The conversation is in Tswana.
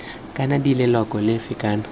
kana d leloko lefe kana